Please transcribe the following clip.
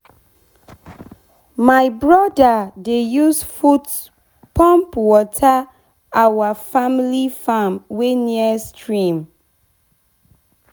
my brother dey use foot pump water our family farm wey near stream.